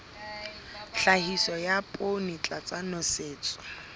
tlhahiso ya poone tlasa nosetso